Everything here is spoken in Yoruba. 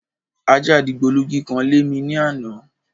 Ajá dìgbòlugi kan lémi ní àná.